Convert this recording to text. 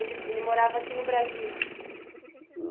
Ele ele morava aqui no Brasil?